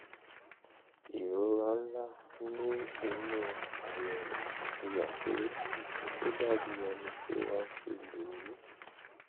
ìrora ńlá ní inú àyẹ̀wò fi hàn pé ó dàbí ẹni pé wọ́n ti lù ú